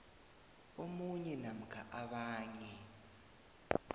omunye namkha abanye